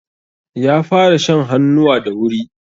Ƴa fara shan hannuwa da wuri.